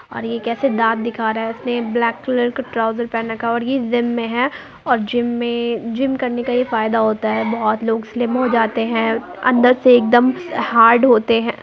और यह कैसे दांत दिख रहा है और इसने ब्लैक कलर का ट्राउजर पहन रखा है औरये जिम में है और जिम में जिम करने का ये फायदा होता है बोहोत लोग स्लिम हो जाते हैं अंदर से एकदम हार्ड होते हैं।